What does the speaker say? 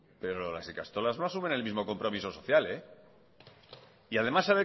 pero las ikastolas no asumen el mismo compromiso social además sabe